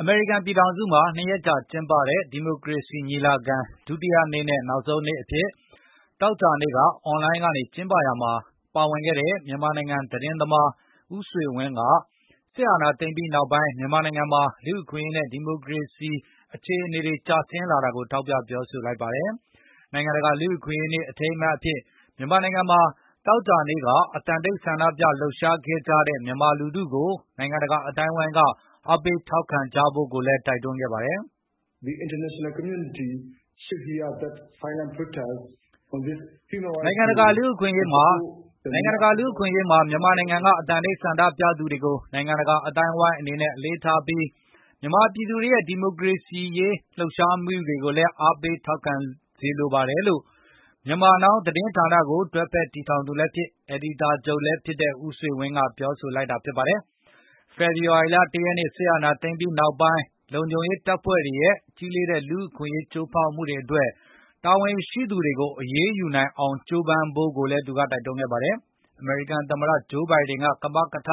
အမေရိကန် ပြည်ထောင်စုမှာ ၂ ရက်ကြာ ကျင်းပတဲ့ ဒီမိုကရေစီ ညီလာခံ ဒုတိယနေ့နဲ့ နောက်ဆုံးနေ့အဖြစ် သောကြာနေ့က အွန်လိုင်းကနေ ကျင်းပရာမှာ ပါဝင်ခဲ့တဲ့ မြန်မာသတင်းသမား ဦးဆွေဝင်း က စစ်အာဏာသိမ်းပြီးနောက်ပိုင်း မြန်မာနိုင်ငံမှာ လူ့အခွင့်အရေးနဲ့ ဒီမိုကရေစီ အခြေအနေတွေ ကျဆင်းလာတာကို ထောက်ပြပြောဆိုလိုက်ပါတယ်။ နိုင်ငံတကာ လူ့အခွင့်အရေးနေ့ အထိမ်းအမှတ်အဖြစ် မြန်မာနိုင်ငံမှာ သောကြာနေ့က အသံတိတ်ဆန္ဒပြလှုပ်ရှားခဲ့ကြတဲ့ မြန်မာလူထုကို နိုင်ငံတကာ အသိုင်းအဝန်းက အားပေးထောက်ခံကြဖို့လည်း တိုက်တွန်းလိုက်ပါတ်ယ။ “နိုင်ငံတကာ လူ့အခွင့်အရေးနေ့မှာ မြန်မာနိုင်ငံက အသံတိတ်ဆန္ဒပြသူတွေကို နိုင်ငံတကာ အသိုင်းအဝန်းအနေနဲ့ အလေးထားပြီး၊ မြန်မာပြည်သူတွေရဲ့ ဒီမိုကရေစီရေး တော်လှန်လှုပ်ရှားမှုတွေကိုလည်း အားပေးစေလိုပါတယ်။” လို့ Myanmar Now သတင်းဌာနကို တွဲဖက်တည်ထောင်သူလည်းဖြစ်၊ အယ်ဒီတာချုပ်ဖြစ်လည်းဖြစ်တဲ့ ဦးဆွေဝင်း ကပြောလိုက်တာပါ။ ဖေဖော်ဝါရီလ ၁ ရက်နေ့ စစ်အာဏာသိမ်းပြီးနောက်ပိုင်း လုံခြုံရေးတပ်ဖွဲ့တွေရဲ့ ကြီးလေးတဲ့ လူ့အခွင့်အရေး ချိုးဖောက်မှုတွေအတွက် တာဝန်ရှိသူတွေကို အရေးယူနိုင်အောင် ကြိုးပမ်းဖို့လည်း တိုက်တွန်းခဲ့ပါတယ်။ အမေရိကန်သမ္မတ Joe Biden ကမကထ